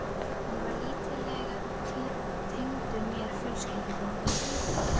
Hann var lítillega tengdur mér fjölskylduböndum.